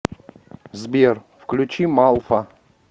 сбер включи малфа